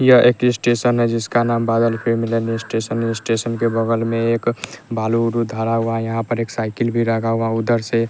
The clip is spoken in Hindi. यह एक स्टेशन है जिसका नाम बादल फिर मिलेन स्टेशन है स्टेशन के बगल में एक बालू धरा हुआ है यहां पर एक साइकिल भी लगा हुआ उधर से--